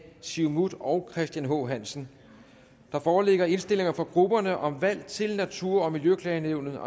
siumut og christian h hansen der foreligger indstillinger fra grupperne om valg til natur og miljøklagenævnet